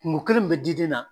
Kungo kelen min bɛ diden na